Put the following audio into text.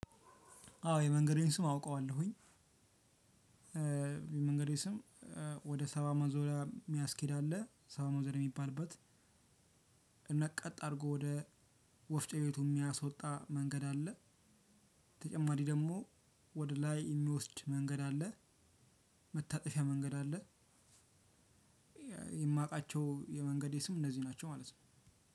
አዎ የመንገዴን ስም አውቀዋለሁኝ። የመንገዴ ስም ወደ ሰባ ማዞሪያ ሚያስኬድ አለ ሰባ ማዞሪያ ሚባልበት። እና ቀጥ አርጎ ወደ ወፍጮ ቤቱ ሚያስወጣ መንገድ አለ። ተጨማሪ ደግሞ ወደ ላይ የሚወስድ መንገድ አለ። መታጠፊያ መንገድ አለ። የ የማውቃቸው የመንገዴ ስም እነዚህ ናቸው ማለት ነው።